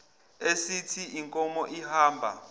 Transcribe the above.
esithi inkomo ihamba